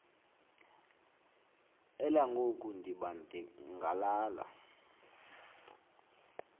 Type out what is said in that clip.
elangoku ndiba ngalala